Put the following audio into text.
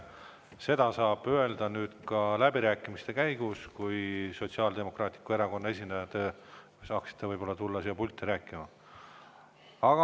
Seda saab öelda ka läbirääkimiste käigus, kui te saate Sotsiaaldemokraatliku Erakonna esindajana ehk tulla siia pulti rääkima.